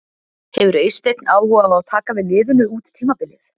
Hefur Eysteinn áhuga á að taka við liðinu út tímabilið?